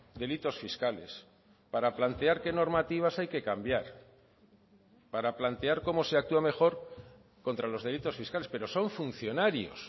delitos fiscales para plantear qué normativas hay que cambiar para plantear cómo se actúa mejor contra los delitos fiscales pero son funcionarios